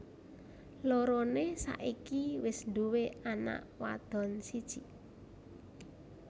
Loroné saiki wis duwé anak wadon siji